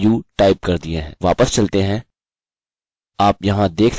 वापस चलते हैं आप यहाँ देख सकते हैं हमें हमारा इनपुट मिल गया है